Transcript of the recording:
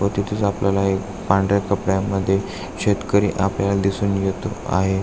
व तिथेच आपल्याला एक पांढऱ्या कपड्या मध्ये शेतकरी अपल्याला दिसून येत आहे.